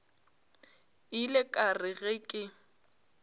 ile ka re ge ke